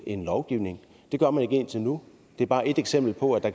en lovgivning det gør man ikke indtil nu det er bare et eksempel på at